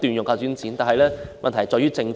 可是，問題在於政府。